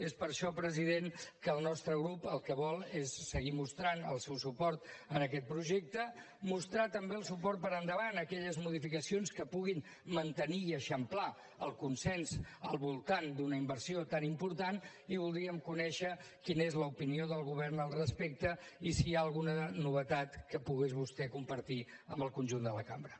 és per això president que el nostre grup el que vol és seguir mostrant el seu suport a aquest projecte mostrar també el suport per endavant a aquelles modificacions que puguin mantenir i eixamplar el consens al voltant d’una inversió tan important i voldríem conèixer quina és l’opinió del govern al respecte i si hi ha alguna novetat que pogués vostè compartir amb el conjunt de la cambra